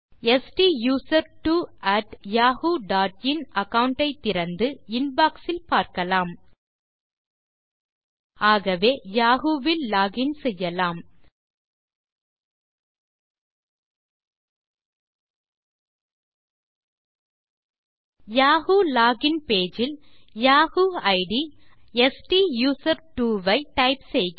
STUSERTWOyahooin account ஐ திறந்து inbox இல் பார்க்கலாம் அகவே யாஹூ வில் லோகின் செய்யலாம் யாஹூ லோகின் பேஜ் இல் யாஹூ இட் ஸ்டூசர்ட்வோ வை டைப் செய்க